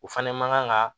O fɛnɛ man ga